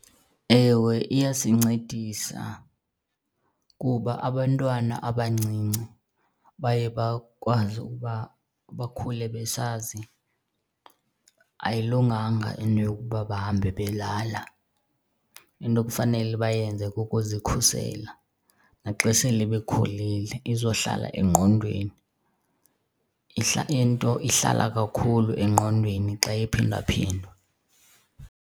Ewe, iyasincedisa kuba abantwana abancinci baye bakwazi ukuba bakhule besazi ayilunganga into yokuba bahambe belala. Into ekufanele bayenze kukuzikhusela, naxa sele bekhulile izohlala engqondweni. Into ihlala kakhulu engqondweni xa iphindaphindwa.